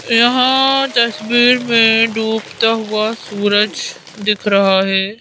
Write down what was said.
यहां तस्वीर में डूबता हुआ सूरज दिख रहा है।